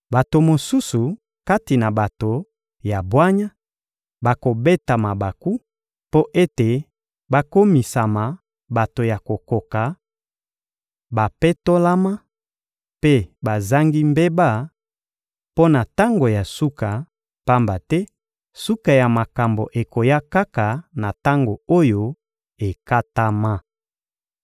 Bato mosusu kati na bato ya bwanya bakobeta mabaku, mpo ete bakomisama bato ya kokoka, bapetolama mpe bazangi mbeba, mpo na tango ya suka, pamba te suka ya makambo ekoya kaka na tango oyo ekatama.